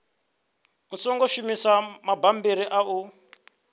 songo shumisa mabammbiri a u